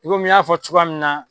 I komi n y'a fɔ cogoya min na.